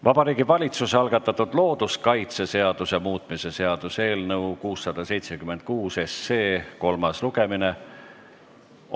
Vabariigi Valitsuse algatatud looduskaitseseaduse muutmise seaduse eelnõu 676 kolmas lugemine.